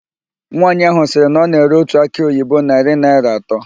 Nwaanyị ahụ sịrị na ọ na-ere otu akị oyibo narị naịra atọ.